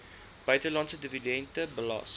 buitelandse dividende belas